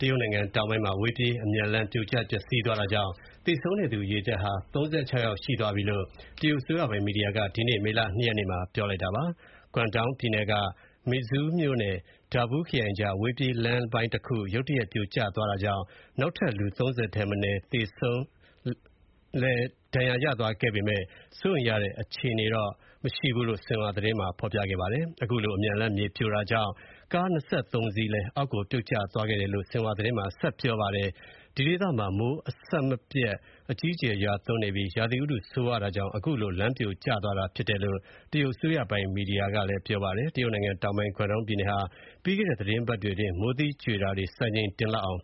တရုတ်နိုင်ငံတောင်ပိုင်းမှာ အဝေးပြေးအမြန်လမ်း ပြိုကျပျက်စီးသွားတာကြောင့် သေဆုံးတဲ့သူဦးရေဟာ ၃၆ ယောက်ရှိသွားပြီလို့ တရုတ်အစိုးရပိုင် မီဒီယာက ဒီကနေ့ မေလ ၂ ရက်နေ့မှာ ပြောလိုက်ပါတယ်။ကွမ်တုန်းပြည်နယ်က Meizhou မြို့ နဲ့ Dabu ခရိုင်ကြားက အဝေးပြေးလမ်းပိုင်းတခု ရုတ်တရက်ပြိုကျသွားတာကြောင့် နောက်ထပ် လူ ၃၀ ထက်မနည်းလည်း ဒဏ်ရာရသွားခဲ့ပေမဲ့ စိုးရိမ်ရတဲ့ အခြေအနေတော့မရှိဘူးလို့ ဆင်ဟွာသတင်းက ပြောပါတယ်။ အခုလို အမြန်လမ်းမြေပြိုတာကြောင့် ကား ၂၃ စင်းလည်း အောက်ကို ပြုတ်ကျသွားခဲ့တယ်လို့ ဆင်ဟွာသတင်းက ဖော်ပြပါတယ်။ ဒီဒေသမှာ မိုးအဆက်အပြတ် အကြီးအကျယ်ရွာသွန်းပြီး ရာသီဥတု ဆိုးရွားမှုကြောင့် အခုလို လမ်းပြိုကျသွားတာဖြစ်တယ်လို့ တရုတ်အစိုးရပိုင် မီဒီယာက ပြောပါတယ်။ တရုတ်နိုင်ငံတောင်ပိုင်းက ကွမ်တုန်းပြည်နယ်ဟာ ပြီးခဲ့တဲ့ သီတင်းပတ်တွေအတွင်း မိုးသီးကြွေတာအပါအဝင် စံချိန်တင်လောက်အောင်